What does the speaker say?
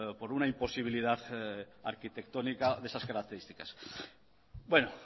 por una imposibilidad arquitectónica de esas características bueno